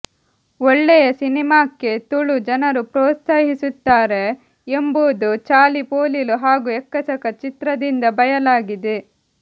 ಓಳ್ಳೆಯ ಸಿನೆಮಾಕ್ಕೆ ತುಳು ಜನರು ಪ್ರೋತ್ಸಾಹಿಸುತ್ತಾರೆ ಎಂಬುದು ಚಾಲಿಪೋಲಿಲು ಹಾಗು ಎಕ್ಕಸಕ ಚಿತ್ರದಿಂದ ಬಯಲಾಗಿದೆ